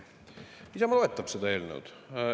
Isamaa toetab seda eelnõu.